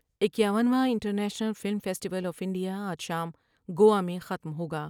اکیاون واں international film festival of India آج شام گوا میں ختم ہو گا ۔